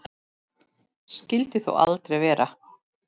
Skyldi þó aldrei vera.